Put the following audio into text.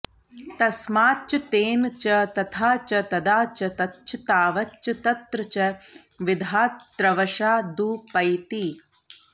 तस्माच्च तेन च तथा च तदा च तच्च तावच्च तत्र च विधातृवशादुपैति